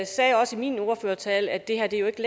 sagde også i min ordførertale at det her jo ikke